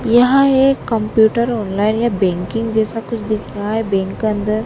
यहं एक computer online या बैंकिंग जैसा कुछ दिख रहा हैं बैंक का अंदर--